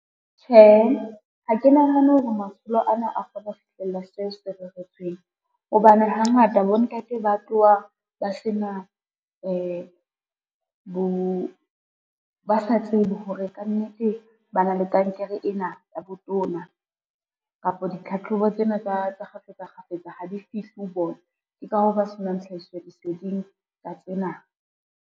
Tjhe, ha ke nahane hore matsholo ana a kgone ho fihlella seo se reretsweng, hobane hangata bontate ba tloha ba sa tsebe hore kannete ba na le kankere ena ya botona. Kapa ditlhatlhobo tsena tsa kgafetsa kgafetsa ha di fihle ho bona, ke ka hoo ba senang tlhahiso leseding ka tsena.